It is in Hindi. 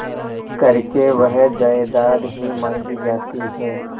करके वह जायदाद ही मॉँगी जाती है